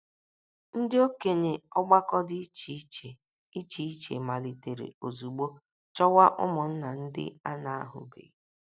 Ndị okenye ọgbakọ dị iche iche iche iche malitere ozugbo chọwa ụmụnna ndị a na - ahụbeghị.